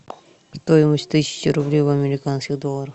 стоимость тысячи рублей в американских долларах